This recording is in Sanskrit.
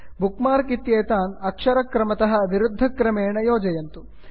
बुक् मार्क् इत्येतान् अक्षरक्रमतः विरुद्धक्रमेण योजयन्तु